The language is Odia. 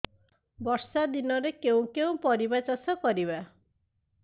ବର୍ଷା ଦିନରେ କେଉଁ କେଉଁ ପରିବା ଚାଷ କରିବା